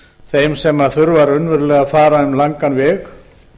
þeim sem þurfa raunverulega að fara um langan veg